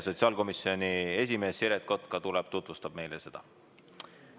Sotsiaalkomisjoni esimees Siret Kotka tuleb ja tutvustab meile seda.